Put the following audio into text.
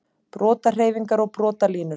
Brotahreyfingar og brotalínur